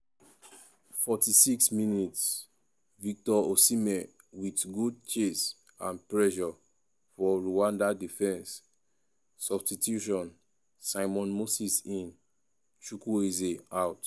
46mins- victor osihmen wit good chase and pressure for rwanda defence substitution' simon moses in chukwueze out.